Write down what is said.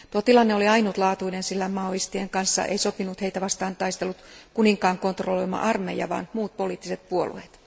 Tuo tilanne oli ainutlaatuinen, sillä maolaisten kanssa ei sopinut heitä vastaan taistellut kuninkaan kontrolloima armeija, vaan muut poliittiset puolueet.